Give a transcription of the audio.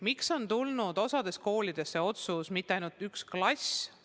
Miks on tulnud osa koolide puhul otsus, mis ei puuduta mitte ainult üht klassi?